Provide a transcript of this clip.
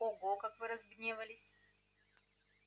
ого как вы разгневались